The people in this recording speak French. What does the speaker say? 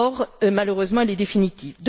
La mort, malheureusement, est définitive.